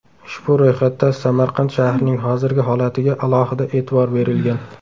Ushbu ro‘yxatda Samarqand shahrining hozirgi holatiga alohida e’tibor berilgan.